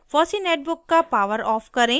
fossee netbook का poweroff off करें